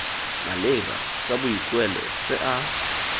maleba tsa boikuelo tse a